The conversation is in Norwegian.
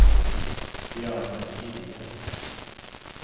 Bjarne Gilje